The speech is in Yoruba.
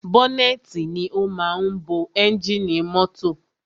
Bọ́nẹ́tì ni o máa ń bo ẹ́ngìnì mọ́tọ̀.